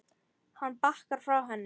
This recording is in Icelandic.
Hann bakkar frá henni.